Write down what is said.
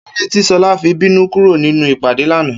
Kílódé tí S̩o̩lá fi bínú kúrò nínú ìpàdé lánàá?